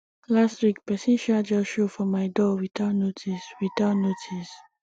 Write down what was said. last week pesin um just show for my door without notice without notice